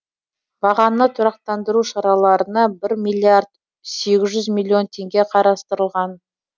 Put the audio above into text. бағаны тұрақтандыру шараларына бір миллиард сегіз жүз миллион теңге қарастырылған